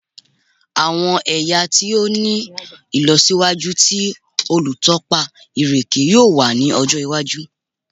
Awọn ẹya ti o ni ilọsiwaju ti olutọpa ireke yoo wa ni ọjọ iwaju